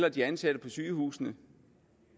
og de ansatte på sygehusene